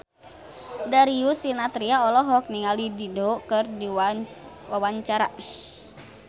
Darius Sinathrya olohok ningali Dido keur diwawancara